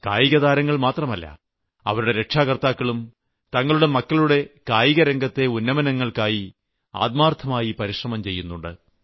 കായികതാരങ്ങൾ മാത്രമല്ല അവരുടെ രക്ഷകർത്താക്കളും തങ്ങളുടെ മക്കളുടെ കായികരംഗത്തെ ഉന്നമനത്തിനായി ആത്മാർത്ഥ പരിശ്രമം ചെയ്യുന്നുണ്ട്